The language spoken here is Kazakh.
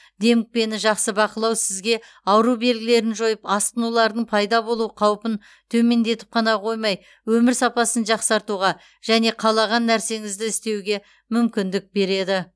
демікпені жақсы бақылау сізге ауру белгілерін жойып асқынулардың пайда болу қаупін төмендетіп қана қоймай өмір сапасын жақсартуға және қалаған нәрсеңізді істеуге мүмкіндік береді